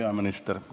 Hea peaminister!